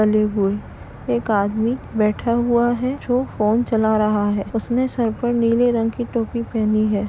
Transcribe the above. हुए। एक आदमी बैठा हुआ है जो फोन चला रहा है। उसने सर पर नीले रंग की टोपी पहनी है।